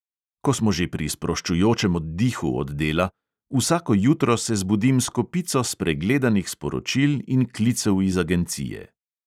Ko smo že pri sproščujočem oddihu od dela; vsako jutro se zbudim s kopico spregledanih sporočil in klicev iz agencije.